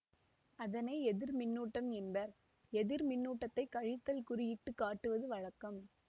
அதனை எதிர்மின்னூட்டம் என்பர் எதிர்மின்னூட்டத்தை கழித்தல் குறி இட்டு காட்டுவது வழக்கம்